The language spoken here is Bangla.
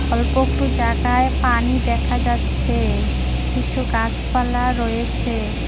অল্প একটু জায়গায় পানি দেখা যাচ্ছে কিছু গাছপালা রয়েছে।